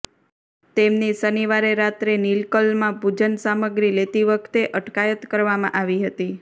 તેમની શનિવારે રાત્રે નિલક્કલમાં પૂજન સામગ્રી લેતી વખતે અટકાયત કરવામાં આવી હતી